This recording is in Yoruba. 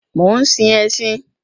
Mò ń sin ẹṣin